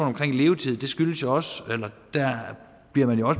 om levetid der bliver man jo